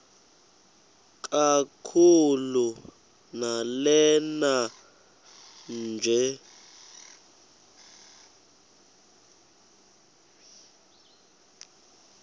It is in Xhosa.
kakhulu lanela nje